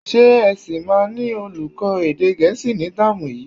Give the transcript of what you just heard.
Ṣé ẹ sì máa ní olùkọ́ èdè Gẹ̀ẹ́sì ní táàmù yìí?